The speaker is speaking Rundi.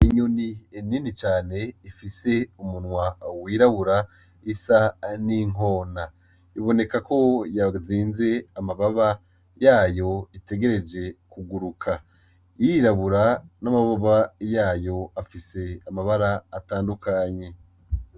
Inyoni ni nini cane ifise umunwa wirabura isa nkinkona iboneka ko yazinze amababa yayo itegereje kuguruka irirabura n'amababa yayo afise amabara atandukanye.